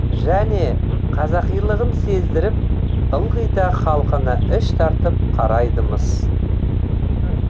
және қазақилығын сездіріп ылғи да халқына іш тартып қарайды мыс